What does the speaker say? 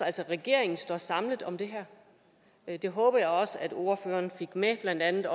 altså regeringen står samlet om det her det håber jeg også at ordføreren fik med blandt andet